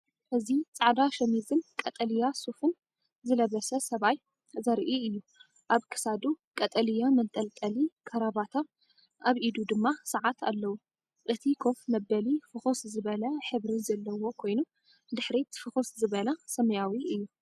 እዚ ጻዕዳ ሸሚዝን ቀጠልያ ሱፍን ዝለበሰ ሰብኣይ ዘርኢ እዩ፤ ኣብ ክሳዱ ቀጠልያ መንጠልጠሊ ካራባታ ኣብ ኢዱ ድማ ሰዓት ኣለዎ። እቲ ኮፍ መበሊ ፍኹስ ዝበለ ሕብሪ ዘለዎ ኮይኑ፡ ድሕሪት ፍኹስ ዝበለ ሰማያዊ እዩ።